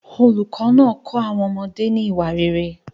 Olùkọ́ náà kọ́ àwọn ọmọdé ní ìwà rere.